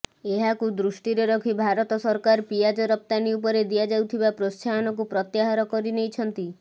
ଏହାକୁ ଦୃଷ୍ଟିରେ ରଖି ଭାରତ ସରକାର ପିଆଜ ରପ୍ତାନି ଉପରେ ଦିଆଉଥିବା ପ୍ରେତ୍ସାହନକୁ ପ୍ରତ୍ୟାହାର କରିନେଇଛନ୍ତି